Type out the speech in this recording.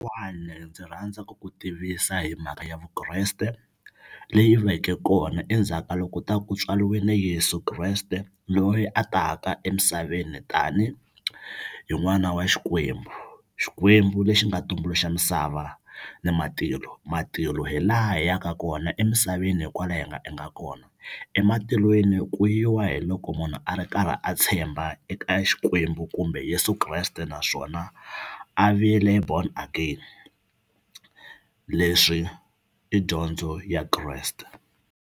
ndzi rhandza ku ku tivisa hi mhaka ya Vukreste leyi veke kona endzhaka loko u ta ku tswariwini Yeso Kreste loyi a taka emisaveni tani hi n'wana wa Xikwembu Xikwembu lexi nga tumbuluxa misava ni matilo matilo hi laha hi yaka kona emisaveni hi kwala hi nga hi nga kona ematilweni ku yiwa hi loko munhu a ri karhi a tshemba eka Xikwembu kumbe Yeso Kreste naswona a vile born again leswi i dyondzo ya Kreste.